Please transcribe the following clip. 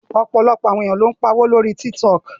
Ọ̀pọ̀lọpọ̀ àwọn ènìyàn ló ń pa owó lórí Tiktok